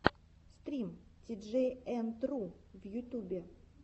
стрим тиджей энд ру в ютубе